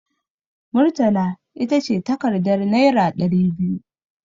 Murtala ita ce takardar naira ɗari biyu.